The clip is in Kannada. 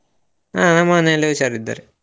ಹಾ ನಮ್ಮ ಮನೆಯಲ್ಲಿ ಹುಷಾರಿದ್ದಾರೆ.